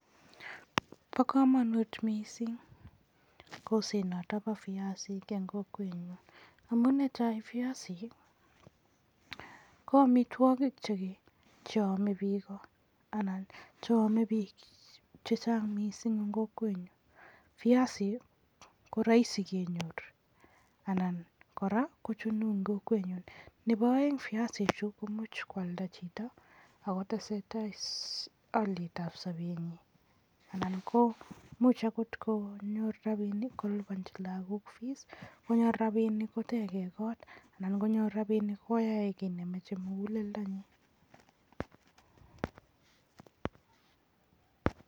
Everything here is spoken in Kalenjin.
Bo kamanut mising kolset noto bo viaisik eng kokwenyun amun ne tai, viaisik ko amitwoki cheame biiko anan cheame biik chechang mising eng kokwenyun, viasik ko raisi kenyor anan kora kochunu eng kokwenyun. Nebo aeng, viasichu komuch kwalda chito ako tesetai alietab sobenyi anan imuch akot konyor rapinik kolipanchi lakok fees anan konyor rapinik koteke koot anan konyor rapinik koyae kiiy nemachei muguleldo nyin.